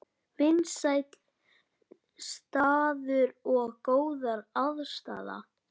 Vinsæll staður og góð aðstaða